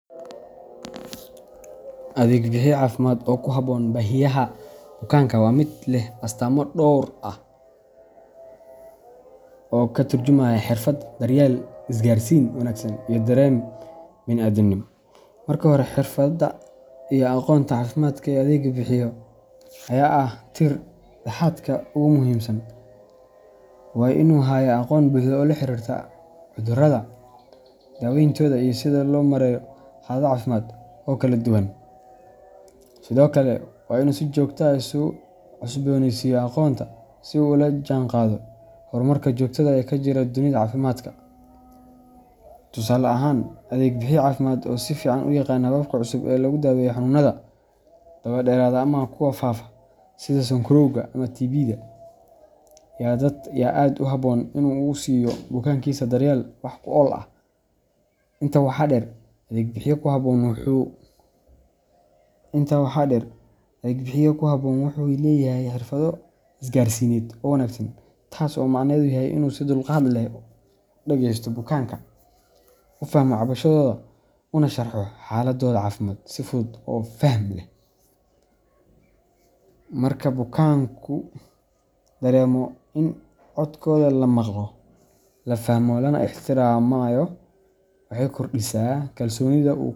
Adeeg bixiye caafimaad oo ku habboon baahiyaha bukaanka waa mid leh astaamo dhowr ah oo ka tarjumaya xirfad, daryeel, isgaarsiin wanaagsan, iyo dareen bini’aadantinimo. Marka hore, xirfadda iyo aqoonta caafimaad ee adeeg bixiyaha ayaa ah tiir-dhexaadka ugu muhiimsan. Waa in uu hayaa aqoon buuxda oo la xiriirta cudurrada, daweyntooda, iyo sida loo maareeyo xaalado caafimaad oo kala duwan. Sidoo kale waa inuu si joogto ah isugu cusbooneysiiyo aqoonta, si uu ula jaanqaado horumarka joogtada ah ee ka jira dunida caafimaadka. Tusaale ahaan, adeeg bixiye caafimaad oo si fiican u yaqaanna hababka cusub ee lagu daweeyo xanuunada daba dheeraada ama kuwa faafa sida sonkorowga ama TBda, ayaa aad ugu habboon in uu siiyo bukaankiisa daryeel wax ku ool ah. Intaa waxaa dheer, adeeg bixiyaha ku habboon wuxuu leeyahay xirfado isgaarsiineed oo wanaagsan, taas oo macnaheedu yahay inuu si dulqaad leh u dhegeysto bukaanka, u fahmo cabashadooda, una sharxo xaaladooda caafimaad si fudud oo faham leh. Marka bukaanku dareemo in codkooda la maqlo, la fahmayo, lana ixtiraamayo, waxay kordhisaa kalsoonida.